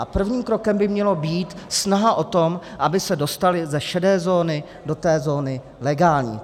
A prvním krokem by měla být snaha o to, aby se dostali z šedé zóny do té zóny legální.